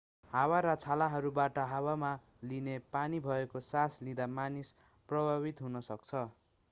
हावा र छालहरूबाट हावामा लिने पानी भएको सास लिँदा मानिस प्रभावित हुन सक्छ